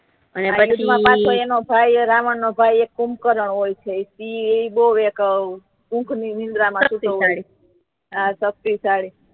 પછી એનો એક ભાઈ રાવણ નો ભાઈ કૂભકરણ હોય છે એ બહુ એક ઓ ઉંઘ ની નીદ્રા માથી